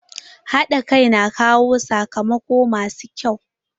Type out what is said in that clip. Haɗa kai na kawo sakamako masu kyau.